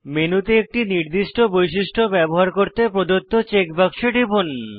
মেনুতে একটি নির্দিষ্ট বৈশিষ্ট্য ব্যবহার করতে প্রদত্ত চেক বাক্সে টিপুন